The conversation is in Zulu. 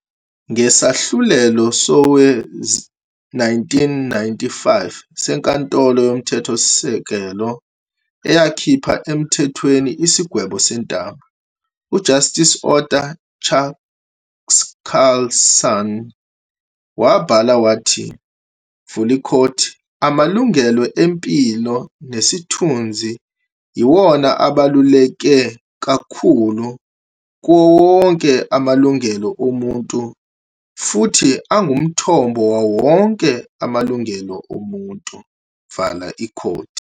Ngesahlulelo sowe-1995 seNkantolo Yomthethosise-kelo eyakhipha emthethweni isigwebo sentambo, u-Justice Arthur Chaskalson wabhala wathi- "Amalungelo empilo nesithunzi yiwona abaluleke kakhulu kuwowonke amalungelo omuntu futhi angumthombo wawo wonke amalungelo omuntu."